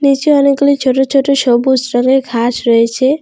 নীচে অনেকগুলি ছোট ছোট সবুজ রঙের ঘাস রয়েছে।